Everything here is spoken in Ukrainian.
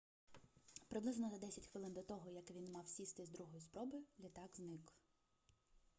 приблизно за десять хвилин до того як він мав сісти з другої спроби літак зник